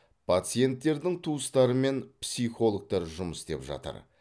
пациенттердің туыстарымен психологтар жұмыс істеп жатыр